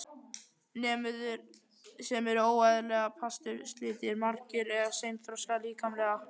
Nemendur sem eru óeðlilega pasturslitlir, magrir eða seinþroska líkamlega.